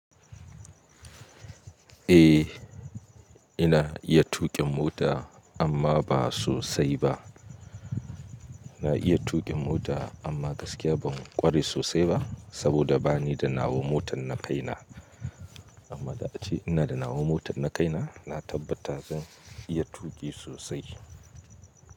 Eh, ina iya tuƙin mota amma ba sosai ba. Na iya tuƙin mota amma gaskiya ban ƙware sosai ba saboda bani da nawan motar na kaina. Amma da ace ina da nawan motar na kaina, na tabbata zan iya tuƙi sosai.